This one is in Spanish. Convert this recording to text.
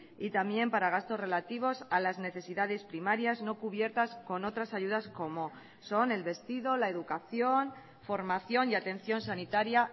y también para gastos relativos a las necesidades primarias no cubiertas con otras ayudas como son el vestido la educación formación y atención sanitaria